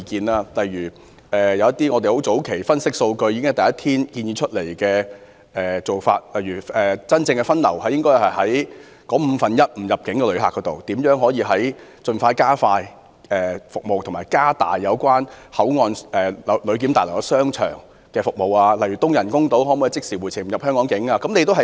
例如，我們早前分析數據後，在第一天便建議應對該五分之一的非入境旅客實施分流、盡量加快及加強香港口岸旅檢大樓商場的服務，以及開通東人工島讓旅客即時回程，無需進入香港境內。